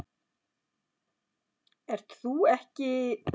Ert þú ekki